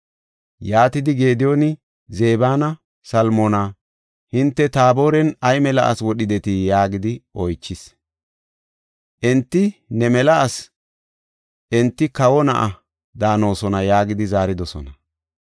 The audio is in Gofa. Yaatidi Gediyooni Zebanne Salmoona, “Hinte Taaboren ay mela asi wodhidetii?” yaagidi oychis. Enti, “Ne mela asi; enti kawo na7a daanosona” yaagidi zaaridosona.